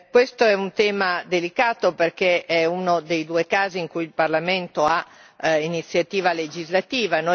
Questo è un tema delicato, perché è uno dei due casi in cui il Parlamento ha iniziativa legislativa.